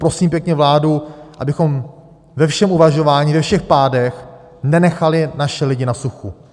Prosím pěkně vládu, abychom ve všem uvažování, ve všech pádech, nenechali naše lidi na suchu.